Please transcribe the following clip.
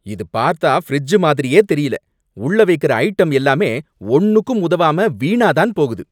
இது பார்த்தா ஃபிரிட்ஜ் மாதிரியே தெரியல! உள்ள வைக்கிற ஐட்டம் எல்லாமே ஒன்னுக்கும் உதவாம வீணா தான் போகுது